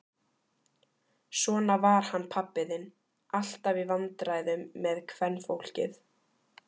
Svona var hann pabbi þinn, alltaf í vandræðum með kvenfólkið.